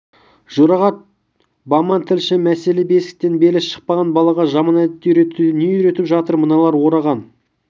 жұрағат баман тілші мәселе бесіктен белі шықпаған балаға жаман әдетті үйретуде не үйретіп жатыр мыналар ораған